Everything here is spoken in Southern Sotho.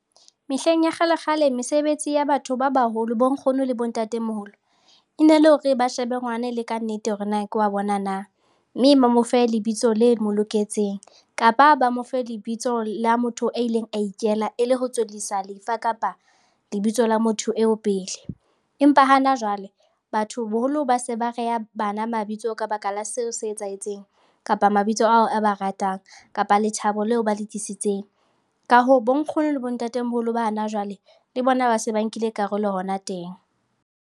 Mehleng ya kgalekgale mesebetsi ya batho ba baholo, bonkgono le bontatemoholo e ne le hore ba shebe ngwana e le ka nnete hore na ke wa bona na, mme ba mo fe lebitso le mo loketseng, kapa ba mo fe lebitso la motho a ileng a ikela e le ho tswellisa lefa kapa lebitso la motho eo pele. Empa hana jwale, batho boholo ba se ba reha bana mabitso ka baka la seo se etsahetseng kapa mabitso ao a ba ratang kapa lethabo leo ba le tlisitseng. Ka hoo, bonkgono le bontatemoholo ba hana jwale le bona ba se ba nkile karolo hona teng.